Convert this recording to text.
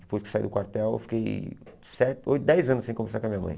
Depois que eu saí do quartel, eu fiquei se oito dez anos sem conversar com a minha mãe.